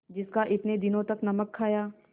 जिसका इतने दिनों तक नमक खाया